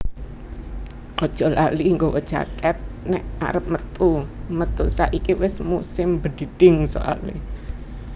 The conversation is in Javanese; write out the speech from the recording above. Ojok lali gawa jaket nek arep metu metu saiki wes musim bedhidhing soale